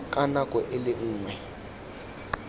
ka nako e le nngwe